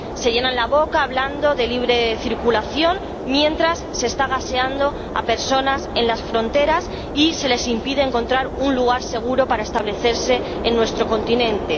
Se llenan la boca hablando de libre circulación, mientras se está gaseando a personas en las fronteras y se les impide encontrar un lugar seguro para establecerse en nuestro continente.